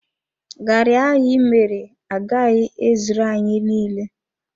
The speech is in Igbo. Garri ahụ ịmere agaghị ezuru anyị niile.